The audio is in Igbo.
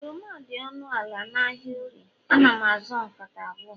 oroma dị ọnụ ala n'ahịa orie, ana m azụ nkata abụọ